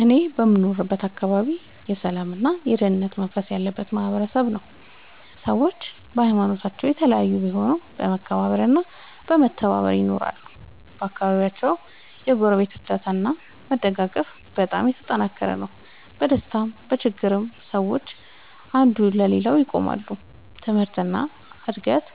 እኔ የምኖርበት አካባቢ የሰላምና የአንድነት መንፈስ ያለበት ማህበረሰብ ነው። ሰዎች በሀይማኖታቸው የተለያዩ ቢሆኑም በመከባበር እና በመተባበር ይኖራሉ። በአካባቢው የጎረቤት እርዳታ እና መደጋገፍ በጣም የተጠናከረ ነው። በደስታም በችግርም ሰዎች አንዱ ለሌላው ይቆማሉ። ትምህርት እና እድገት